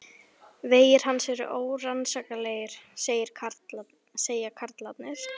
Vegir hans eru órannsakanlegir, segja karlarnir.